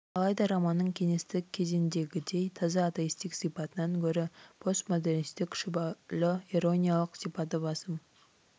алайда романның кеңестік кезеңдегідей таза атеистік сипатынан гөрі постмодернистік шүбәлі ирониялық сипаты басым